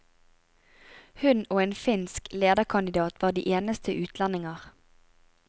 Hun og en finsk lederkandidat var de eneste utlendinger.